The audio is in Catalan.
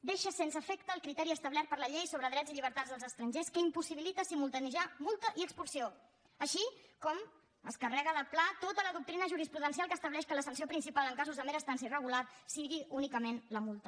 deixa sense efecte el criteri establert per la llei sobre drets i llibertats dels estrangers que impossibilita simultaniejar multa i expulsió així com es carrega de pla tota la doctrina jurisprudencial que estableix que la sanció principal en casos de mera estància irregular sigui únicament la multa